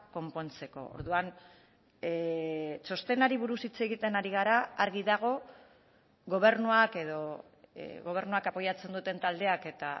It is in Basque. konpontzeko orduan txostenari buruz hitz egiten ari gara argi dago gobernuak edo gobernuak apoiatzen duten taldeak eta